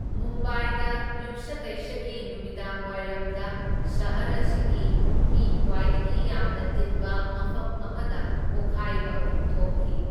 ꯃꯨꯝꯕꯥꯏꯗ ꯌꯨꯝꯁꯀꯩꯁꯒꯤ ꯅꯨꯃꯤꯗꯥꯡꯋꯥꯢꯔꯝꯗ ꯁꯍꯔ ꯑꯁꯤꯒꯤ ꯃꯤ ꯈ꯭ꯋꯥꯢꯗꯒꯤ ꯌꯥꯝꯅ ꯇꯤꯟꯕ ꯃꯐꯝ ꯑꯃꯥꯗ ꯄꯣꯈꯥꯢꯕ ꯑꯍꯨꯝ ꯊꯣꯛꯈꯤ꯫